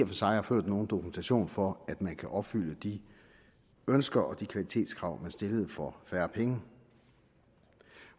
for sig har ført nogen dokumentation for at man kan opfylde de ønsker og de kvalitetskrav man stillede for færre penge